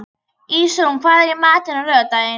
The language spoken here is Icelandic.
Ísrún, hvað er í matinn á laugardaginn?